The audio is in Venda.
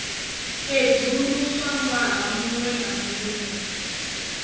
sedzuluswa ṅwaha muṅwe na muṅwe